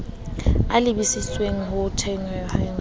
a lebisitseng ho thehweng ha